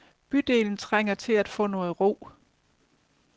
Bydelen trænger til at få noget ro.